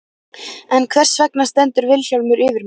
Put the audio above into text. En hvers vegna stendur Vilhjálmur yfir mér?